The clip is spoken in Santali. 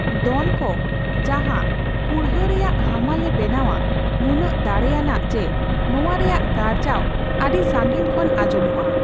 ᱫᱚᱱᱠᱚ, ᱡᱟᱦᱟᱸ ᱠᱩᱲᱦᱟᱹ ᱨᱮᱭᱟᱜ ᱦᱟᱢᱟᱞ ᱮ ᱵᱮᱱᱟᱣᱼᱟ, ᱱᱩᱱᱟᱹᱜ ᱫᱟᱲᱮᱭᱟᱱᱟᱜᱼᱟ ᱡᱮ ᱱᱚᱣᱟ ᱨᱮᱭᱟᱜ ᱜᱟᱨᱡᱟᱣ ᱟᱹᱰᱤ ᱥᱟᱺᱜᱤᱧ ᱠᱷᱚᱱ ᱟᱸᱡᱚᱢᱚᱜᱼᱟ ᱾